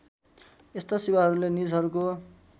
यस्ता सेवाहरूले निजहरूको